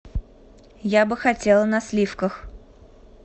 я бы хотела на сливках